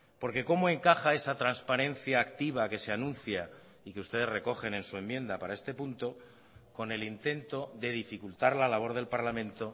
porque cómo encaja esa transparencia activa que se anuncia y que ustedes recogen en su enmienda para este punto con el intento de dificultar la labor del parlamento